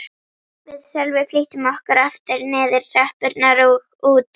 Við Sölvi flýttum okkur aftur niður tröppurnar og út.